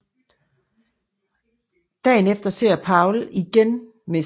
Dagen efter ser Paul igen Mr